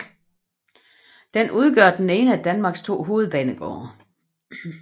Den udgør den ene af Danmarks to hovedbanegårde